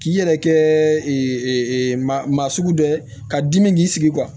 K'i yɛrɛ kɛ maa sugu dɔ ye ka dimi k'i sigi